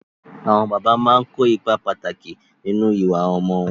Àwọn bàbá ń kó ipá pàtàkì nínú ìwà ọmọ wọn.